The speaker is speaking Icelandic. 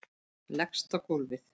Leggst á gólfið.